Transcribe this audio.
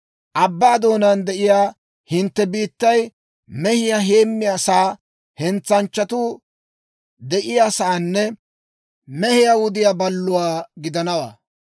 Abbaa doonaan de'iyaa hintte biittay mehiyaa heemmiyaa saa, hentsanchchatuu de'iyaasaanne mehiyaa wudiyaa balluwaa gidanawaa.